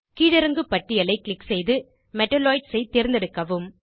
கீழிறங்கு பட்டியலை க்ளிக் செய்து மெட்டலாய்ட்ஸ் ஐ தேர்ந்தெடுக்கவும்